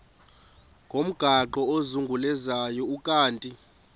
ngomgaqo ozungulezayo ukanti